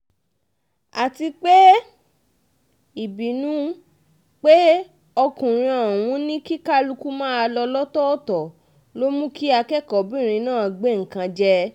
àti pé ìbínú pé ọkùnrin ọ̀hún ní kí kálukú máa lọ lọ́tọ̀ọ̀tọ̀ ló mú kí akẹ́kọ̀ọ́-bìnrin náà gbé nǹkan jẹ